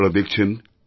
আপনারা দেখছেন